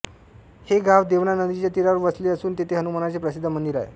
हे गाव देवना नदीच्या तीरावर वसले असून तेथे हनुमानाचे प्रसिद्ध मंदिर आहे